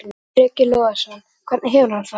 Breki Logason: Hvernig hefur hann það?